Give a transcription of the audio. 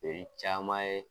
caman ye